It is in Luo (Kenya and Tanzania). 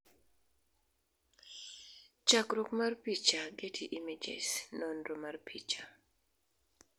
chakruok mar picha, Getty Images, nonro mar picha